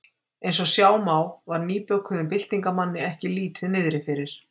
Eins og sjá má var nýbökuðum byltingarmanni ekki lítið niðri fyrir.